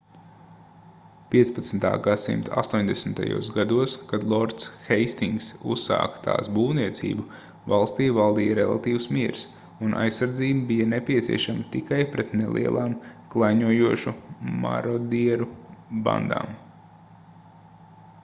15. gs astoņdesmitajos gados kad lords heistingss uzsāka tās būvniecību valstī valdīja relatīvs miers un aizsardzība bija nepieciešama tikai pret nelielām klaiņojošu marodieru bandām